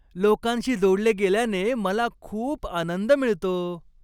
लोकांशी जोडले गेल्याने मला खूप आनंद मिळतो.